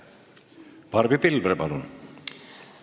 Barbi Pilvre, palun!